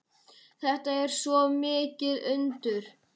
Þetta er svo mikið undur.